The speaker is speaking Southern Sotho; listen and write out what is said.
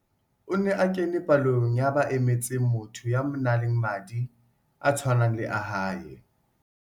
O ne a kene palong ya ba emetseng motho ya nang le madi a tshwanang le a hae.